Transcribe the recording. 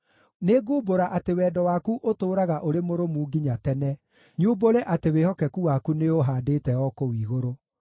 Nĩngumbũra atĩ wendo waku ũtũũraga ũrĩ mũrũmu nginya tene, nyumbũre atĩ wĩhokeku waku nĩũũhaandĩte o kũu igũrũ.